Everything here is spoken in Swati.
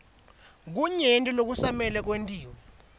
kunyenti lokusamele kwentiwe